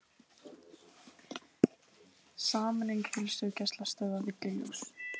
Sameining heilsugæslustöðva villuljós